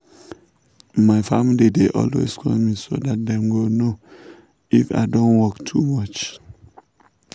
my family dey always call me so that dem go know if i don work too much.